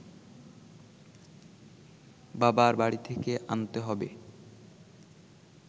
বাবার বাড়ি থেকে আনতে হবে